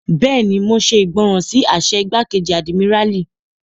Bẹ́ẹ̀ni, mo ṣe ìgbọràn sí àṣẹ igbákejì àdìmíràlí